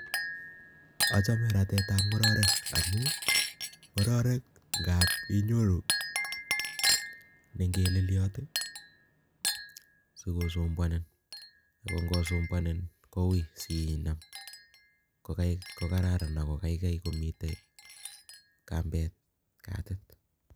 Achame ratetab ngororek amun ngororek ngap inyoru ne ingeleliot sikosumbuanin, ako sumbuanin koui sinam ko kararan ako kaikai komitei kambet katit.